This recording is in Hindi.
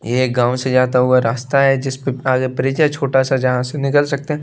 ये गाँव से जाता हुआ रास्ता हैजिस पर आगे ब्रिज है छोटा सा जहाँ से निकल सकते हैं।